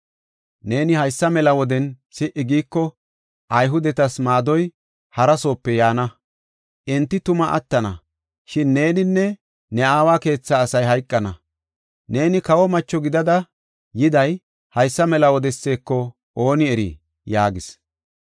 Neeni haysa mela woden si77i giiko, Ayhudetas maadoy harasoope yaana. Enti tuma attana; shin neeninne ne aawa keethaa asay hayqana. Neeni kawo macho gidada yiday haysa mela wodeseko ooni erii?” yaagis.